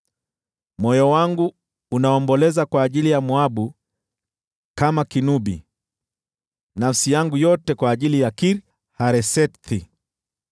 Moyo wangu unaomboleza kwa ajili ya Moabu kama kinubi, nafsi yangu yote kwa ajili ya Kir-Haresethi.